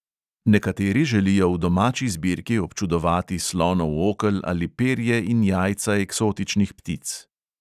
Nekateri želijo v domači zbirki občudovati slonov okel ali perje in jajca eksotičnih ptic.